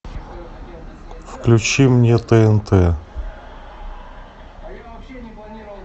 включи мне тнт